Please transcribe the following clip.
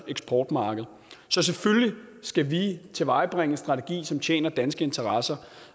eksportmarked så selvfølgelig skal vi tilvejebringe en strategi som tjener danske interesser